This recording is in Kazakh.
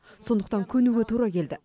сондықтан көнуге тура келді